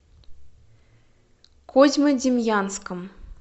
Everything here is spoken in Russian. козьмодемьянском